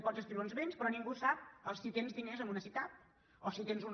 pots inscriure uns béns però ningú sap si tens diners amb una sicav o si tens un